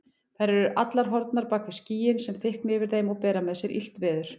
Þær eru allar horfnar bak við skýin sem þykkna yfir þeim og bera með sér illt veður.